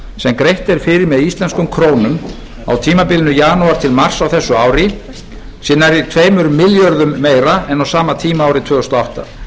sem greitt er fyrir með íslenskum krónum á tímabilinu janúar til mars á þessu ári sé nærri tveimur milljörðum meira en á sama tíma árið tvö þúsund og átta